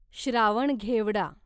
Shravan घेवडा